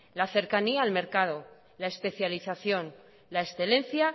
la cercanía al mercado la especialización la excelencia